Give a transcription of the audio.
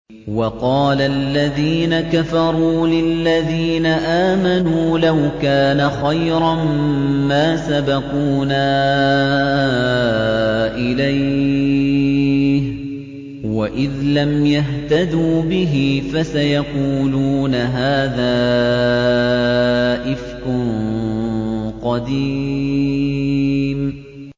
وَقَالَ الَّذِينَ كَفَرُوا لِلَّذِينَ آمَنُوا لَوْ كَانَ خَيْرًا مَّا سَبَقُونَا إِلَيْهِ ۚ وَإِذْ لَمْ يَهْتَدُوا بِهِ فَسَيَقُولُونَ هَٰذَا إِفْكٌ قَدِيمٌ